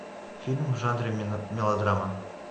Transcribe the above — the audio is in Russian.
фильм в жанре мелодрама